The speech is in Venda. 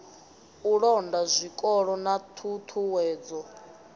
u londa zwikolo na ṱhuṱhuwedzo